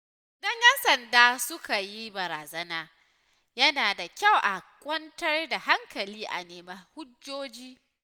Idan ‘yan sanda suka yi barazana, yana da kyau a kwantar da hankali a nemi hujjoji.